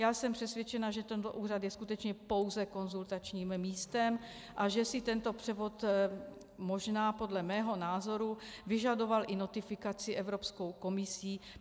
Já jsem přesvědčena, že tento úřad je skutečně pouze konzultačním místem a že si tento převod možná podle mého názoru vyžadoval i notifikaci Evropskou komisí.